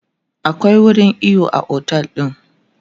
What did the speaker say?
akwai wurin iyo a otel ɗin